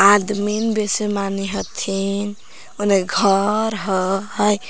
आदमिन बेसे मानी हथिन ओने घर हई ।